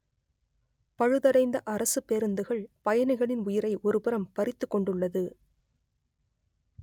பழுதடைந்த அரசுப் பேருந்துகள் பயணிகளின் உயிரை ஒருபுறம் பறித்துக் கொண்டுள்ளது